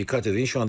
Diqqət edin.